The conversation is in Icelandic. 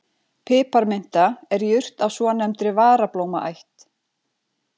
Piparminta er jurt af svonefndri varablómaætt.